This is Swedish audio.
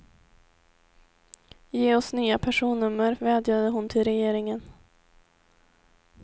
Ge oss nya personnummer, vädjade hon till regeringen.